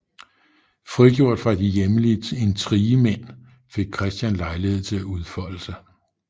Frigjort fra de hjemlige intrigemænd fik Christian lejlighed til at udfolde sig